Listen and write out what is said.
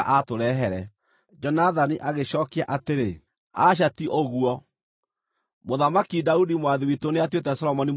Jonathani agĩcookia atĩrĩ; “Aca ti ũguo! Mũthamaki Daudi mwathi witũ nĩatuĩte Solomoni mũthamaki.